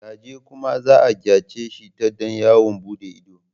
Gaje kuma za a gayyace ta don yawon buɗe ido.